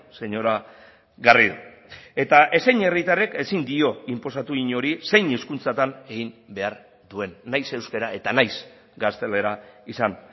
señora garrido eta ezein herritarrek ezin dio inposatu inori zein hizkuntzatan egin behar duen nahiz euskara eta nahiz gaztelera izan